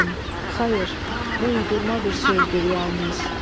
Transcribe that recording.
Səlim, xeyr, bu uydurma bir sözdür yalnız.